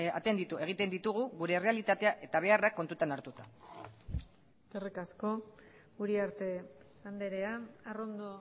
atenditu egiten ditugu gure errealitatea eta beharrak kontutan hartuta eskerrik asko uriarte andrea arrondo